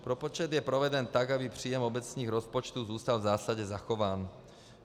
Propočet je proveden tak, aby příjem obecních rozpočtů zůstal v zásadě zachován.